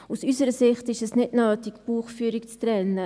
Aus unserer Sicht ist es nicht nötig, die Buchführung zu trennen.